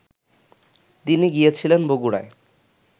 তিনি গিয়েছিলেন বগুড়ায়